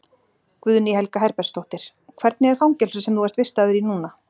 Guðný Helga Herbertsdóttir: Hvernig er fangelsið sem þú ert vistaður í núna?